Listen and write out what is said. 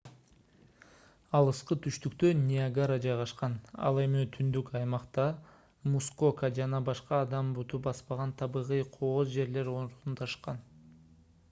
алыскы түштүктө ниагара жайгашкан ал эми түндүк аймакта мускока жана башка адам буту баспаган табигый кооз жерлер орундашкан